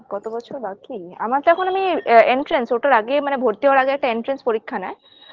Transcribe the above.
কত বছর বাকি আমার তো এখন আমি entrance ওঠার আগে মানে ভর্তি হওয়ার আগে একটা entrance পরীক্ষা নেয়